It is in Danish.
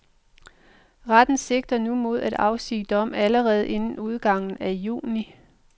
Retten sigter nu mod at afsige dom allerede inden udgangen af juni.